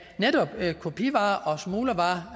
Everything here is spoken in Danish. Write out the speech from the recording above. netop kopivarer og smuglervarer